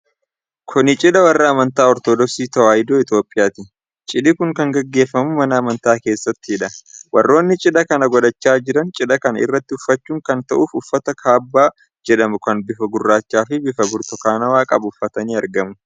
Kun Cidha warra amantoota Ortodoksii Tawaayidoo Itoophiyaati. Cidhi kun kan gaggeeffamu mana amantaa keessattidha. Warroonni cidha kan godhachaa jiran, cidha kana irratti uffachuun kan ta'uuf uffata kaabbaa jedhamu kan bifa gurraacha fi bifa burtukaanawaa qabu uffatanii argamu.